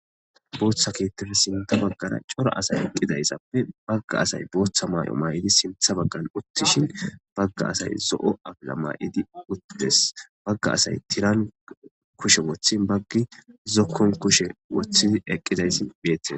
Botha kethappe sintha baggara darro assayi eqiddayisape daro assayi botha mayo mayidi bagga asayi utishini bagga assayi zoo afila mayidi utidesi bagga assayi tirani kushe wothin bagga asayi zokoni wothid eqides